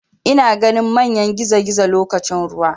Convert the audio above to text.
Ina ganin manyan gizogizo lokacin ruwa.